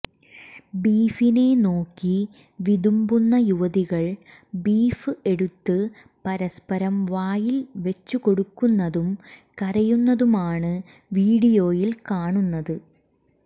ബീഫിനെ നോക്കി വിതുമ്പുന്ന യുവതികൾ ബീഫ് എടുത്ത് പരസ്പരം വായിൽ വച്ചു കൊടുക്കുന്നതും കരയുന്നതുമാണ് വിഡിയോയിൽ കാണുന്നത്